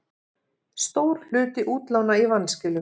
Stór hluti útlána í vanskilum